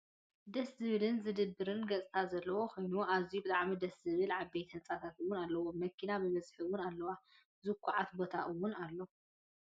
ደስ ዝብልን ዝድብርን ገፅታ ዘለዎ ኮይኑ ኣዝዮ ብጣዕሚ ደሰ ዝብሉን ዓበይቲ ህንፃታት እውን ኣለው። መኪናታት ብበዝሒ እውን ኣለዋ። ዝኩዓት ቦታ እውን ኣሎ።